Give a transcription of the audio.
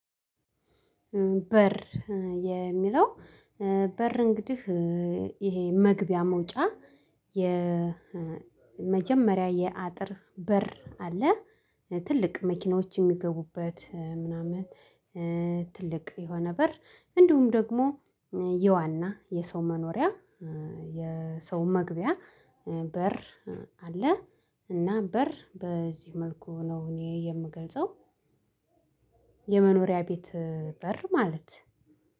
በር የሚለው በር እንግዲህ ይሄ መግቢያ መውጫ የመጀመሪያ የአጥር በር አለ ትልቅ መኪኖች የሚገቡበት ምናምን። ትልቅ የሆነ በር እንዲሁም ደግሞ የዋና የሰው መኖሪያ የሰው መግቢያ በር አለ። እና በር በዚህ መልኩ ነው እኔ የምገልጸው። የመኖሪያ ቤት በር ማለት